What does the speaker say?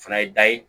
O fana ye da ye